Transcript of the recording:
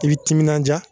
I bi timinanja